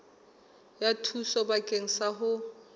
ya thuso bakeng sa ho